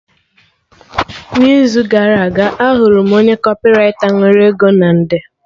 N'izu gara aga, ahụrụ m onye kọpịraita nwere ego na nde